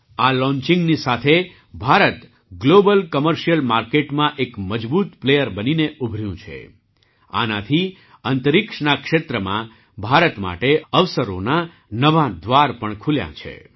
આ લૉંચિંગની સાથે ભારત ગ્લૉબલ કૉમર્શિયલ માર્કેટમાં એક મજબૂત પ્લેયર બનીને ઉભર્યું છે જેથી અંતરિક્ષના ક્ષેત્રમાં ભારત માટે અવસરોનાં નવાં દ્વાર ખુલ્યાં છે